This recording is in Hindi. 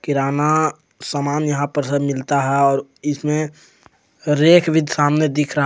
किराना समान यहां पर सब मिलता है और इसमें रेख भी सामने दिख रहा--